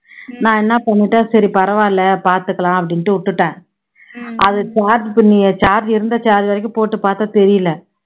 நான் என்ன பண்ணிட்டேன் சரி பரவால்ல பாத்துக்கலாம் அப்படின்னுட்டு விட்டுட்டேன் அது charge pin charge இருந்தா charge ஆகிக்கும் போட்டு பாத்தா தெரியல